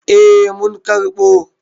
Eh mun karɓo.